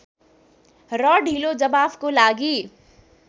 र ढिलो जवाफको लागि